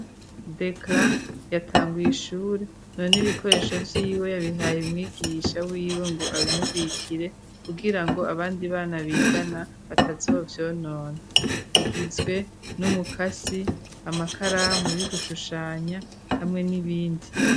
Dekla yatanguye ishure none ibikoresho vy'iwe yabihaye umwigisha w'iwe ngo abimubikire kugira ngo abandi bana bigana batazovyonona, bigizwe n'umukasi, amakaramu y'ugushushanya hamwe n'ibindi.